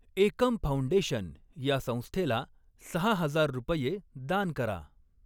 एकम foundation ह्या संस्थेला सहा हजार रुपये दान करा.